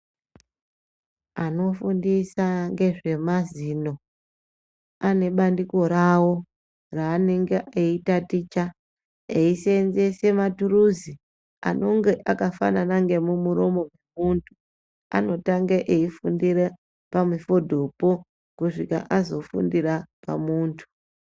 Anofundisa ngezvemazino ane bandiko ravo raanenge eitaticha eisenzese maturuzi anonge akafanana ngemumuromo wemuntu anotanga eifundire pamufodhopo kusvika azofundira pamuntu.